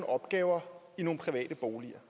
opgaver i nogle private boliger